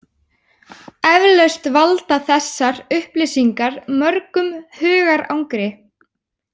Eflaust valda þessar upplýsingar mörgum hugarangri.